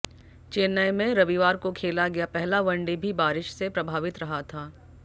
चेन्नै में रविवार को खेला गया पहला वनडे भी बारिश से प्रभावित रहा था